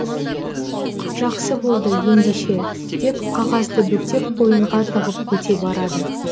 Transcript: жақсы болды ендеше деп қағазды бүктеп қойынға тығып кете барады